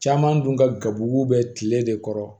Caman dun ka gabugu bɛ kile de kɔrɔ